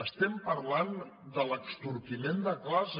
estem parlant de l’extorquiment de classes